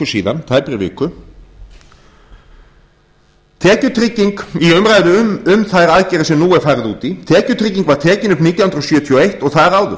síðan tæpri viku tekjutrygging í umræðu um þær aðgerðir sem nú er farið út í tekjutrygging var tekin upp nítján hundruð sjötíu og eins og þar áður